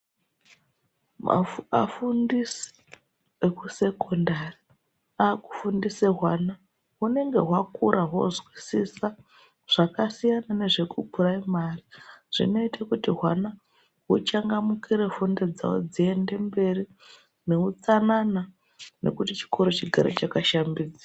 Magu afundisi ekusekondari akufundise hwana hunenge hwakura hwozwisisa zvakasiyana nezvekupuraimari Zvinoite kuti hwana huchangamukire fundo dzawo dziendemberi neutsanana nekuti chikoro chigare chakashambidzika.